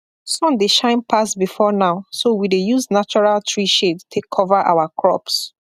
sun dey shine pass before now so we dey use natural tree shade take cover our crops